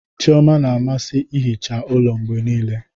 Chioma na-amasị ihicha ụlọ mgbe niile.